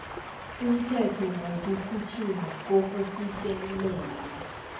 umthetho wokukhutjhulwa kokufikelela